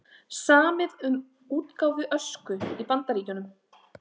Samið um útgáfu Ösku í Bandaríkjunum